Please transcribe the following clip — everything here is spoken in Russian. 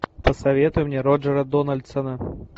посоветуй мне роджера дональдсона